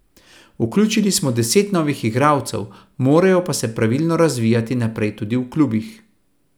Vključili smo deset novih igralcev, morajo pa se pravilno razvijati naprej tudi v klubih.